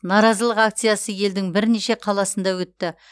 наразылық акциясы елдің бірнеше қаласында өтті